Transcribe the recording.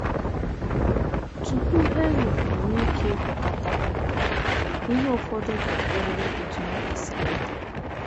Tupu helium enwee ike ịgwakọta, ihe ụfọdụ ga - adịrịrị otú ha kwesịrị ịdị.